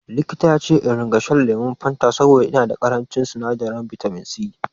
Likita yace in ringa shan lemon fata saboda ina da ƙarancin sinadarin bitaminsi